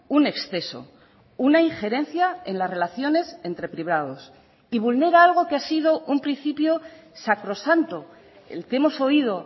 un exceso una injerencia en las relaciones entre privados y vulnera algo que ha sido un principio sacrosanto el que hemos oído